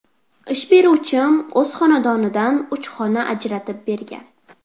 Ish beruvchim o‘z xonadonidan uch xona ajratib bergan.